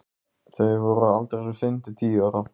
Þau voru á aldrinum fimm til tíu ára.